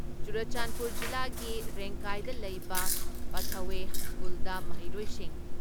ꯆꯨꯔꯆꯥꯟꯄꯨꯔ ꯖꯤꯂꯥꯒꯤ ꯔꯦꯡꯀꯥꯏꯗ ꯂꯩꯕ ꯄꯥꯊꯋꯦ ꯁ꯭ꯀꯨꯜꯗ ꯃꯍꯩꯔꯣꯏꯁꯤꯡ